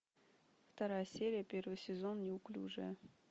вторая серия первый сезон неуклюжая